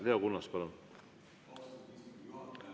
Leo Kunnas, palun!